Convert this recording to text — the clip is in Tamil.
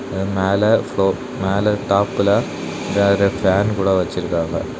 இந்த மேல ப்லோர் மேல டாப்ல வேற ஃபன் கூட வச்சிருக்காங்க.